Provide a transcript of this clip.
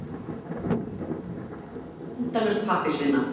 Þessu fylgir endalaus pappírsvinna.